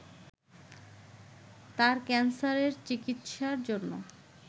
তার ক্যান্সারের চিকিৎসার জন্য